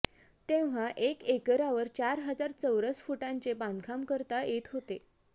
तेव्हा एक एकरावर चार हजार चौरस फुटांचे बांधकाम करता येत होते